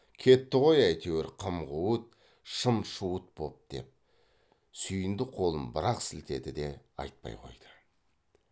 кетті ғой әйтеуір қым қуыт шым шуыт боп деп сүйіндік қолын бір ақ сілтеді де айтпай қойды